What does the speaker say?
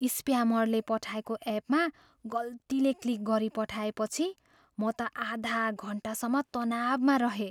स्प्यामरले पठाएको एपमा गल्तीले क्लिक गरिपठाएपछि म त आधा घन्टासम्म तनावमा रहेँ।